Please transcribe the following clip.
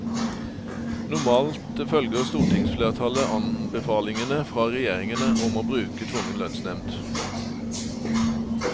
Normalt følger stortingsflertallet anbefalingene fra regjeringene om å bruke tvungen lønnsnevnd.